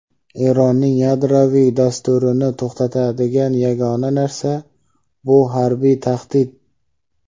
Eronning yadroviy dasturini to‘xtatadigan yagona narsa — bu harbiy tahdid.